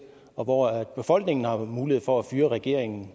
hvor hvor befolkningen har mulighed for at fyre regeringen